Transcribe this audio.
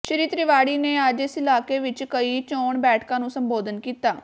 ਸ੍ਰੀ ਤਿਵਾੜੀ ਨੇ ਅੱਜ ਇਸ ਇਲਾਕੇ ਵਿੱਚ ਕਈ ਚੋਣ ਬੈਠਕਾਂ ਨੂੰ ਸੰਬੋਧਨ ਕੀਤਾ